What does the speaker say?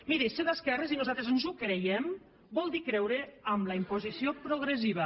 miri ser d’esquerres i nosaltres ens ho creiem vol dir creure en la imposició progressiva